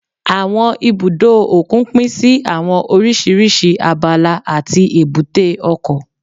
Àwọn ibùdó òkun pín sí àwọn oríṣiríṣi abala àti èbúté ọkọ̀